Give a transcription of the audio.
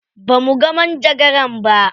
Ba muga manjagaran ba.